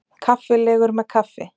Kaffilegur með kaffi.